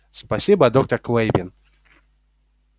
спасибо доктор клэйвин